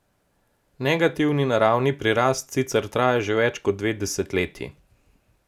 Negativni naravni prirast sicer traja že več kot dve desetletji.